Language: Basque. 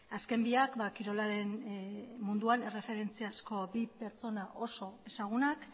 azken biak kirolaren munduan erreferentziazko bi pertsona oso ezagunak